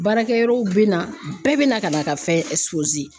Baarakɛ yɔrɔw bɛ na bɛɛ bɛ na ka na ka fɛn